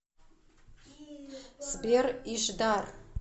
сбер ишдар